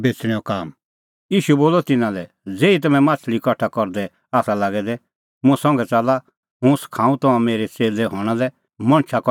ईशू बोलअ तिन्नां लै ज़ेही तम्हैं माह्छ़ली कठा करदै आसा लागै दै मुंह संघै च़ाल्ला हुंह सखाऊं तम्हां मेरै च़ेल्लै हणां लै मणछ कठा करनै